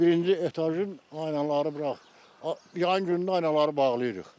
Birinci etajın aynaları bura, yayın günü aynaları bağlayırıq.